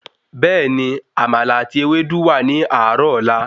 Bẹ́ẹ̀ni, àmàlà àti Ewédú wà ní àárò ọ̀la.